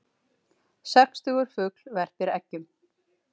Sextugur fugl verpir eggjum